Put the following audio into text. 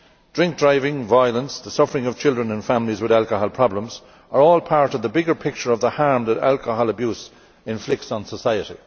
Drink driving, violence and the suffering of children and families with alcohol problems are all part of the bigger picture of the harm that alcohol abuse inflicts on society.